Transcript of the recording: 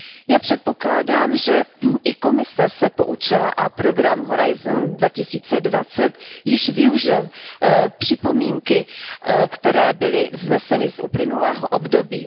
Já předpokládám, že i Komise se poučila a program Horizont 2020 již využil připomínky, které byly vzneseny z uplynulého období.